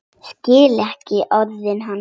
Skil ekki orð hans.